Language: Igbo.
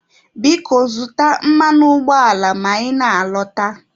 Biko zụta mmanụ ụgbọala ma ị na-alọta.